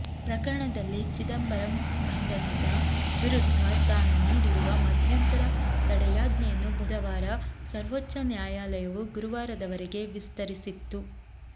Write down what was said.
ಪ್ರಕರಣದಲ್ಲಿ ಚಿದಂಬರಂ ಬಂಧನದ ವಿರುದ್ಧ ತಾನು ನೀಡಿರುವ ಮಧ್ಯಂತರ ತಡೆಯಾಜ್ಞೆಯನ್ನು ಬುಧವಾರ ಸರ್ವೋಚ್ಚ ನ್ಯಾಯಾಲಯವು ಗುರುವಾರದವರೆಗೆ ವಿಸ್ತರಿಸಿತ್ತು